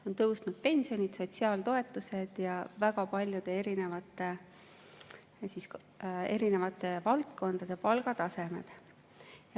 On tõusnud pensionid, sotsiaaltoetused ja väga paljude erinevate valdkondade palgatasemed.